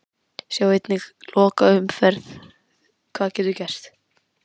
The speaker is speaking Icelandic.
Sjá einnig: Lokaumferðin- Hvað getur gerst?